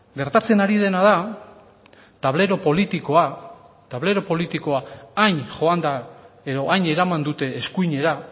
gertatzen ari dena da tablero politikoa hain joan da edo hain eraman dute eskuinera